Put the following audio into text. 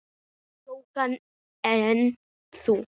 Jóhann: En þú?